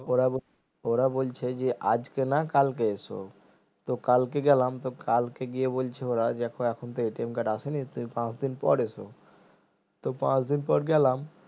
ওরা বল ওরা বলছে যে আজকে না কালকে এসো তো কালকে গেলাম তো কালকে গিয়ে বলছে ওরা দেখো এখন তো card আসেনি তুমি পাঁচদিন পর এসো তো পাঁচ দিন পর গেলাম